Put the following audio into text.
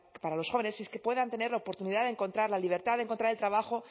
para los jóvenes es que puedan tener la oportunidad de encontrar la libertad de encontrar el trabajo